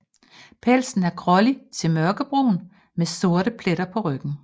Pelsen er grålig til mørkebrun med sorte pletter på ryggen